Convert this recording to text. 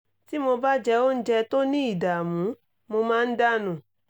tí mo bá jẹ oúnjẹ tó ní ìdààmú mo máa ń dà nù